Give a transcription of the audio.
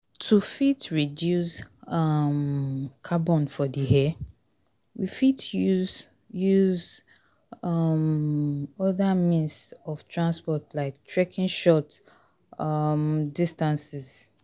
To fit reduce um carbon for the air, we fit use use um oda means of transport like trekking short um distances